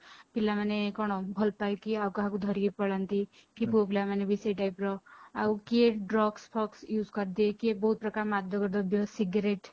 ପିଲାମାନେ କଣ ଭଲ ପାଇକି ଆଉ କାହାକୁ ଧରି ପଳାନ୍ତି